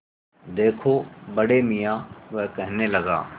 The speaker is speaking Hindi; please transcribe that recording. देखो बड़े मियाँ वह कहने लगा